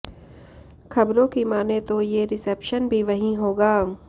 खबरों की मानें तो ये रिसेप्शन भी वहीं होगा